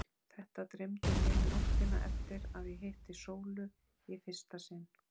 Þetta dreymdi mig nóttina eftir að ég hitti Sólu í fyrsta sinn.